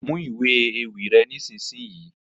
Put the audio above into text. Mú ìwé ewì rẹ nisisiyi!